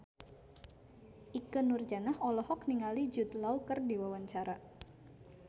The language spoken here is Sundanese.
Ikke Nurjanah olohok ningali Jude Law keur diwawancara